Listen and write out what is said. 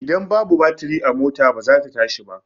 Ida babu batiri mota ba zata tashi ba